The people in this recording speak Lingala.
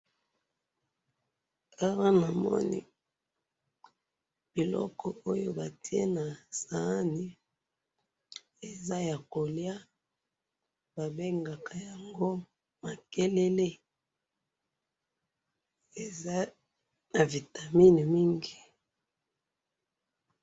awa namoni biloko oyo batiye nasahani eza ya koliya ba bengaka yango makelele eza na vitamine mingi